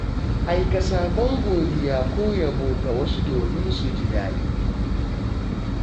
Aika saƙon godiya ko yabo ga wasu domin su ji daɗi.